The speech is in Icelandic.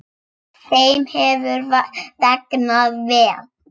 Þeim hefur vegnað vel.